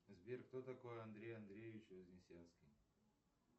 сбер кто такой андрей андреевич вознесенский